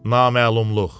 Naməlumluq.